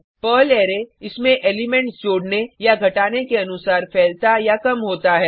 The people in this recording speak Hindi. पर्ल अरै इसमें एलिमेंट्स जोड़ने या घटाने के अनुसार फैलता या कम होता है